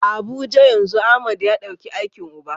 A Abuja yanzu Ahmad ya dauki aikin uba.